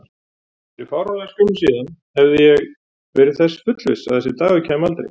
Fyrir fáránlega skömmu síðan hafði ég verið þess fullviss að þessi dagur kæmi aldrei.